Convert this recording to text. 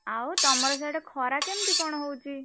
ଆଉ ତମର ସାଡ଼େ ଖରା କେମିତି କଣ ହଉଚି?